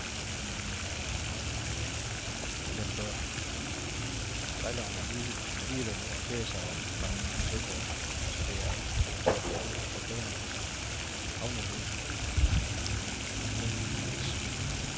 Men den bør sejleren alligevel orientere sig om fra søkortet, så det er alt i alt en forbedring af havnelodsens anvendelsesmuligheder.